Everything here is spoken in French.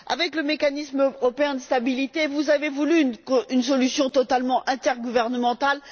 Avec le mécanisme européen de stabilité, vous avez voulu une solution totalement intergouvernementale.